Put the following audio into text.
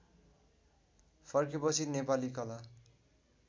फर्केपछि नेपाली कला